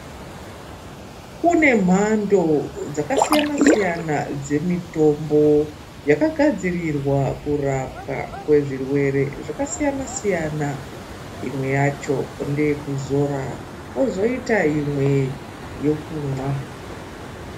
Kune mhando dzakasiyana-siyana dzemitombo yakagadzirirwa kurapwa kwezvirwere zvakasiyana-siyana. Imwwe yacho ndeye kuzora pozoita imwe yekumwa.